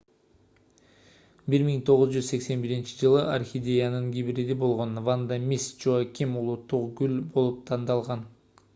1981-жылы орхидеянын гибриди болгон ванда мисс джоаким улуттук гүл болуп тандалган